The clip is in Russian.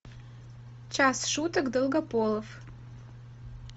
час шуток долгополов